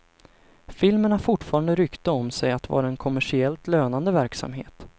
Filmen har fortfarande rykte om sig att vara en kommersiellt lönande verksamhet.